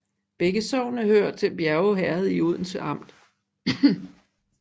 Begge sogne hørte til Bjerge Herred i Odense Amt